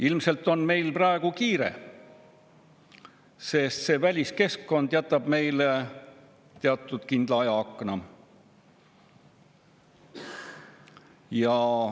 Ilmselt on meil praegu kiire, sest väliskeskkond on jätnud meile teatud kindla ajaakna.